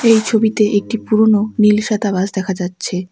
এই ছবিতে একটি পুরনো নীল সাদা বাস দেখা যাচ্ছে।